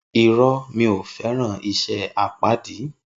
Irõ, mi o feran ise apadi